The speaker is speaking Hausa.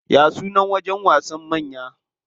Ya sunan wajen wasan manya?